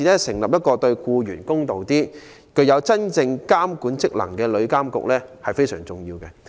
成立一個對僱員較公道、具有真正監管職能的旅遊業監管局非常重要。